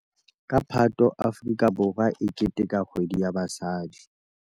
Ka Phato Afrika Borwa e keteteka Kgwedi ya Basadi.